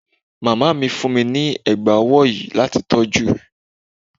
Màmá mi fún mi ní ẹ̀gbá ọwọ́ yìí láti tọ́jú.